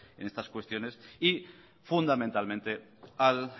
en estas cuestiones y fundamentalmente al